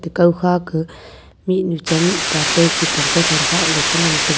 kau kha ka mihnu cha mihpa chai khupong kothon khakley cha ngantaga.